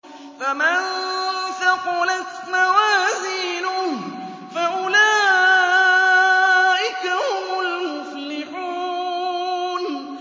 فَمَن ثَقُلَتْ مَوَازِينُهُ فَأُولَٰئِكَ هُمُ الْمُفْلِحُونَ